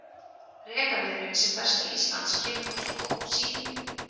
Rekaviðurinn sem berst til Íslands kemur frá skógum Síberíu.